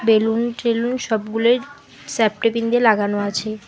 Balloon টেলুন সবগুলোই safety pin দিয়ে লাগানো আছে।